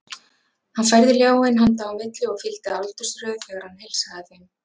Hann færði ljáinn handa á milli og fylgdi aldursröð þegar hann heilsaði þeim.